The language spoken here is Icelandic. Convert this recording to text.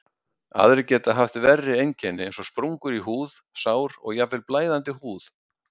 Aðrir geta haft verri einkenni eins og sprungur í húð, sár og jafnvel blæðandi húð.